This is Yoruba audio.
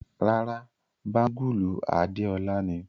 Ràrá, bangulu Adéọla ni.